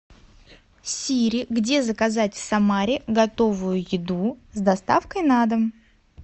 сири где заказать в самаре готовую еду с доставкой на дом